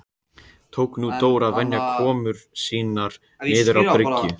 Tók nú Dór að venja komur sínar niður á bryggju.